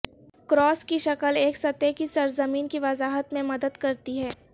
cross کی شکل ایک سطح کی سرزمین کی وضاحت میں مدد کرتی ہے